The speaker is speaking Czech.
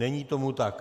Není tomu tak.